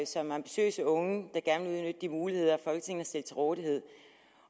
som ambitiøse unge der gerne vil de muligheder folketinget til rådighed